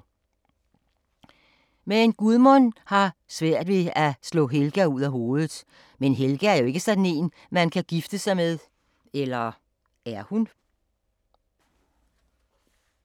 Men Gudmund har svær ved at slå Helga ud af hovedet, men Helga er jo ikke sådan en man kan gifte sig med, eller er hun?